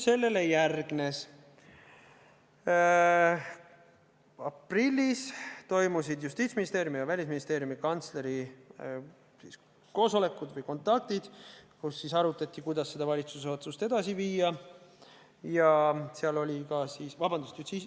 Sellele järgnes see, et aprillis toimusid Justiitsministeeriumi ja Välisministeeriumi kantsleri koosolekud või kontaktid, kus arutati, kuidas seda valitsuse otsust ellu viia.